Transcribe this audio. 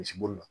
Misibo